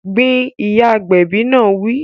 Gbin! Ìyá agbẹ̀bi náà wí